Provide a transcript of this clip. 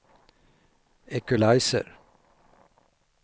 equalizer